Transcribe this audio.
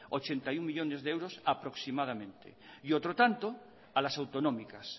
ochenta y uno millónes de euros aproximadamente y otro tanto a las autonómicas